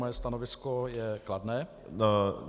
Moje stanovisko je kladné.